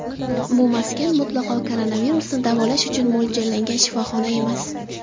Bu maskan mutlaqo koronavirusni davolash uchun mo‘ljallangan shifoxona emas.